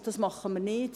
Und das tun wir nicht.